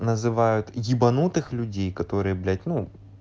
называют ебанутых людей которые блять ну